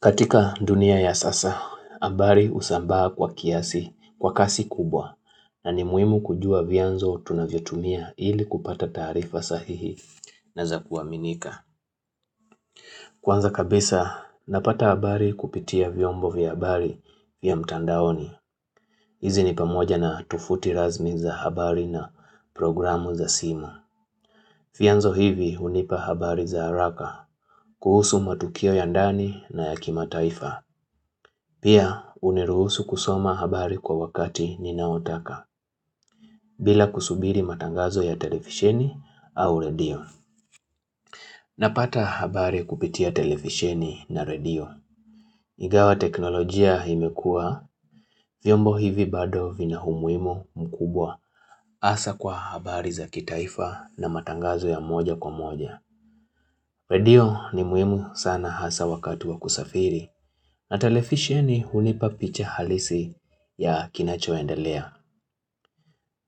Katika dunia ya sasa, habari husambaa kwa kiasi, kwa kasi kubwa, na ni muimu kujua vianzo tunavyotumia ili kupata taarifa sahihi na za kuaminika. Kwanza kabisa, napata habari kupitia vyombo vya habari ya mtandaoni. Hizi ni pamoja na tufuti razmi za habari na programu za simu. Vianzo hivi unipa habari za haraka, kuhusu matukio ya ndani na ya kimataifa. Pia huniruhusu kusoma habari kwa wakati ninaotaka bila kusubiri matangazo ya televisheni au radio. Napata habari kupitia televisheni na radio. Igawa teknolojia imekua, vyombo hivi bado vina umuhimu mkubwa hasa kwa habari za kitaifa na matangazo ya moja kwa moja. Radio ni muhimu sana hasa wakati wa kusafiri na telefisheni hunipa picha halisi ya kinacho endelea.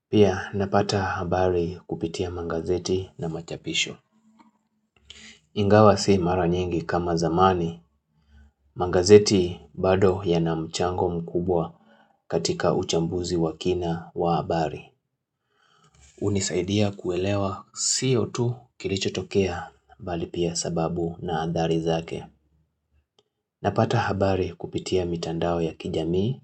Pia napata habari kupitia mangazeti na machapisho. Ingawa si mara nyingi kama zamani, mangazeti bado ya na mchango mkubwa katika uchambuzi wa kina wa habari. Unisaidia kuelewa sio tu kilicho tokea bali pia sababu na athari zake. Napata habari kupitia mitandao ya kijamii,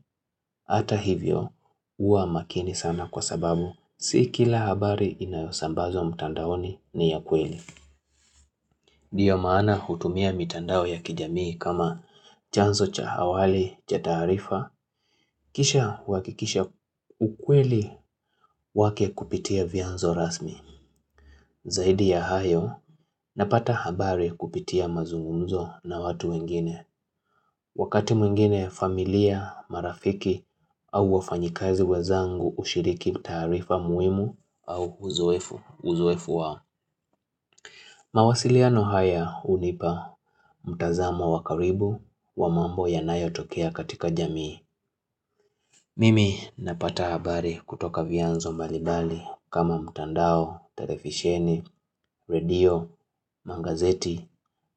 ata hivyo huwa makini sana kwa sababu, si kila habari inayosambazwo mtandaoni ni ya kweli. Ndiyo maana hutumia mitandao ya kijamii kama chanzo cha awali, cha tarifa, kisha wakikisha ukweli wake kupitia vianzo rasmi. Zaidi ya hayo, napata habari kupitia mazungumzo na watu wengine. Wakati mwingine familia, marafiki au wafanyikazi wenzangu ushiriki taarifa muhimu au uzoefu uzoefu wao. Mawasiliano haya hunipa mtazamo wakaribu wa mambo yanayo tokea katika jamii. Mimi napata habari kutoka vianzo mbali mbali kama mtandao, televisheni, radio, mangazeti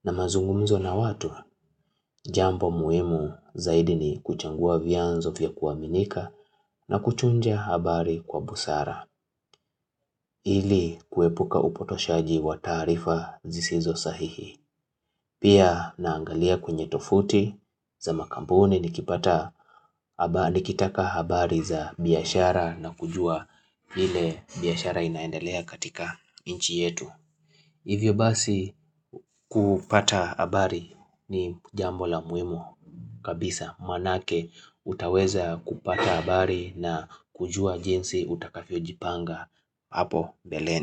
na mazungumzo na watu Jambo muhimu zaidi ni kuchagua vianzo vya kuwaminika na kuchunja habari kwa busara ili kuepuka upotoshaji wa taarifa zisizo sahihi Pia naangalia kwenye tofuti za makampuni nikipata nikitaka habari za biashara na kujua vile biashara inaendelea katika inchi yetu Hivyo basi kupata habari ni jambo la muhimu kabisa maanake utaweza kupata habari na kujua jinsi utakavyojipanga hapo beleni.